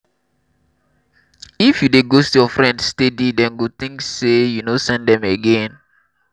if you dey ghost your friend steady dem go think sey you no send them again